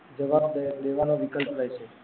જવાબ દેવાનો વિકલ્પ રહે છે